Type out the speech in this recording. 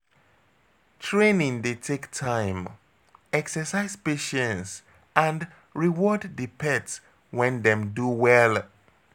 Training dey take time exercise patience and reward di pet when dem do well